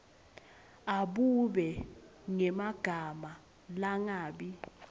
abube ngemagama langabi